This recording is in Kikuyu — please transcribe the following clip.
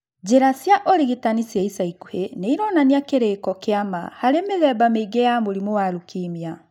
Njĩra cia ũrigitani cia ica ikũhi nĩ ironania kĩrĩko kĩa ma harĩ mĩthemba mĩingĩ ya mũrimũ wa leukemia